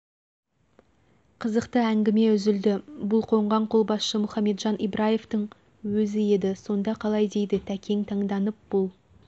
қызықты әңгіме үзілді бұл қонған қолбасшы мұхамеджан ибраевтың өзі еді сонда қалай дейді тәкең таңданып бұл